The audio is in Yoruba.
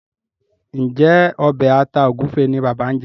Njé Obe atá egufe ní bàbá ñ jé?